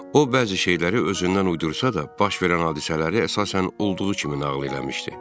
O bəzi şeyləri özündən uydursa da, baş verən hadisələri əsasən olduğu kimi nağıl eləmişdi.